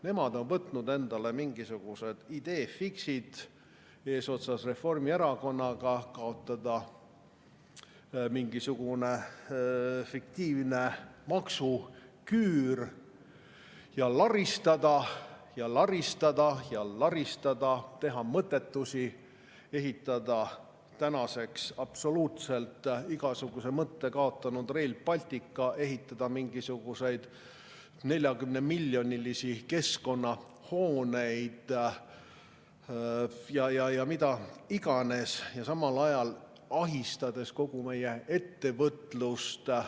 Nemad on võtnud endale mingisugused idée fixe'id, eesotsas Reformierakonnaga, et kaotada mingisugune fiktiivne maksuküür ja laristada ja laristada ja laristada, teha mõttetusi, ehitada tänaseks absoluutselt igasuguse mõtte kaotanud Rail Baltic, ehitada mingisuguseid 40-miljonilisi keskkonnahooneid ja mida iganes, samal ajal ahistades kogu meie ettevõtlust.